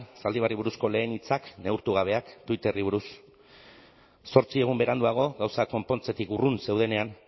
zaldibarri buruzko lehen hitzak neurtu gabeak twitterri buruz zortzi egun beranduago gauzak konpontzetik urrun zeudenean